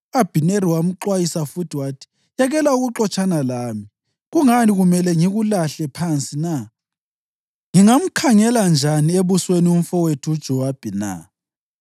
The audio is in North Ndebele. U-Abhineri wamxwayisa futhi wathi, “Yekela ukuxotshana lami. Kungani kumele ngikulahle phansi na? Ngingamkhangela njani ebusweni umfowethu uJowabi na?”